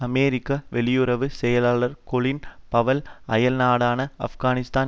அமெரிக்க வெளியுறவு செயலாளர் Colin Powell அயல்நாடான ஆப்கானிஸ்தான்